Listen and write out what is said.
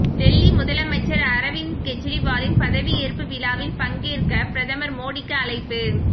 டெல்லி முதலமைச்சர் அரவிந்த் கெஜ்ரிவாலின் பதவியேற்பு விழாவில் பங்கேற்க பிரதமர் மோடிக்கு அழைப்பு